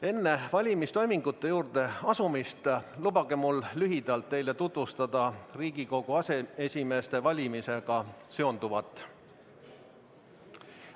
Enne valimistoimingute juurde asumist lubage mul lühidalt teile tutvustada Riigikogu aseesimeeste valimisega seonduvat.